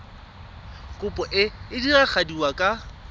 kopo e e diragadiwa ka